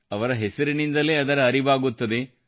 ಅವರ ಹೆಸರಿಂದಲೇ ಅದರ ಅರಿವಾಗುತ್ತದೆ